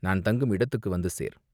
நான் தங்கும் இடத்துக்கு வந்து சேர்!